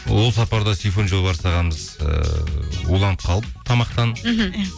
ол сапарда сейфуллин жолбарыс ағамыз ыыы уланып қалып тамақтан мхм иә